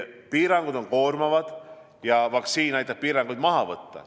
Piirangud on koormavad ja vaktsiin aitab piirangud maha võtta.